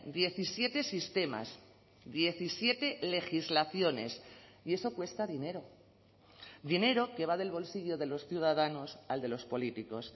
diecisiete sistemas diecisiete legislaciones y eso cuesta dinero dinero que va del bolsillo de los ciudadanos al de los políticos